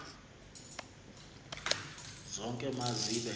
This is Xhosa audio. zonke ma zibe